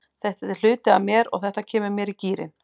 Þetta er hluti af mér og þetta kemur mér í gírinn.